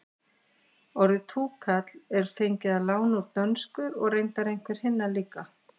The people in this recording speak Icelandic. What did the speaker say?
orðið túkall er fengið að láni úr dönsku og reyndar einhver hinna líka